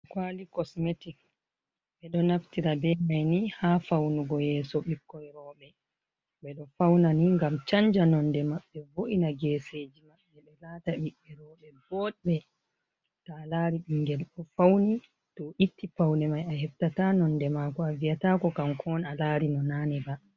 Kwaali kosmetik ɓeɗo naftira be maini ha faunugo yeso ɓikkoi rouɓee. Ɓeɗo faunani ngam chanja nonde maɓɓe, voo’ina gesejii mabɓe ɓe laata ɓee rouɓee botbee. To alaari ɓingel ofauni to'o itti paunemai aheftata nondemaako aviyataako kanko'on alarino naneba.